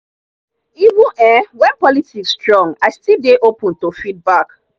even um when politics strong i still dey open to feedback.